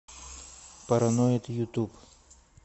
параноид ютуб